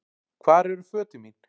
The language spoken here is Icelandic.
Hvar eru fötin mín?